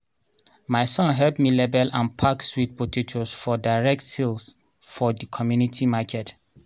my son help me label and pack sweet potatoes for direct sale for the community market